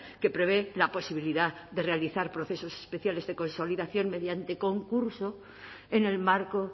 que prevé la posibilidad de realizar procesos especiales de consolidación mediante concurso en el marco